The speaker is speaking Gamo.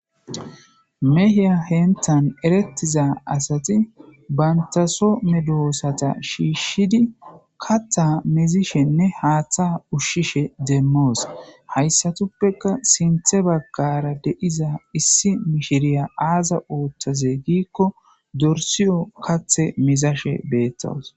mehiya henthan erettiza asati bantaso medoosata shiishshidi katta mizishenne haaththa ushshishe demmoos hayssatuppeka sinthe baggara de7iza issi mishiriya aaza ootthoze giikko dorsiyo kathe mizashe beettos